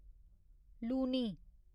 Luni